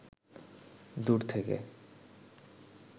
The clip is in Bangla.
দূর থেকে